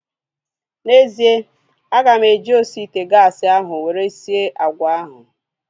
N'ezie, aga m eji osi ite gaasi ahu were sie agwa ahu